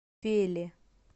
феле